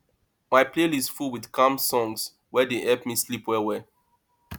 my playlist full with calm songs wey dey help me sleep well well